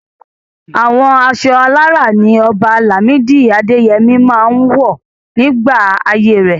Àwọn aṣọ alárá ní Ọba Lamidi Adeyemi máa ń wọ̀ nígbà ayé rẹ̀.